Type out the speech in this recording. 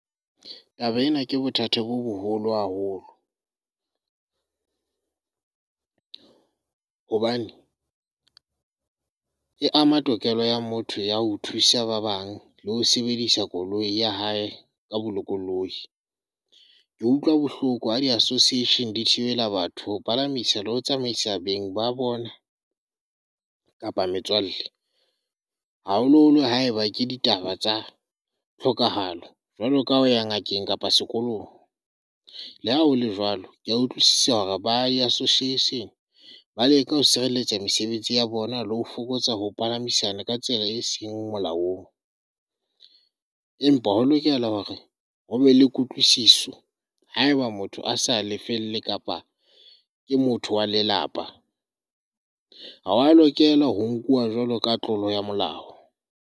Taba ena ke bothata bo boholo haholo. Hobane e ama tokelo ya motho ya ho thusa ba bang le ho sebedisa koloi ya hae ka bolokolohi. Ke utlwa bohloko ha di association di thibela batho ho palamisa le ho tsamaisa beng ba bona kapa metswalle, haholoholo haeba ke ditaba tsa tlhokahalo jwalo ka ho ya ngakeng kapa sekolong. Le ha hole jwalo, kea utlwisisa hore ba Association ba leka ho sireletsa mesebetsi ya bona le ho fokotsa ho palamisana ka tsela e seng molaong, empa ho lokela hore ho be le kutlwisiso haeba motho a sa lefelle kapa ke motho wa lelapa, ha wa lokela hore o nkuwa jwalo ka tlolo ya molao.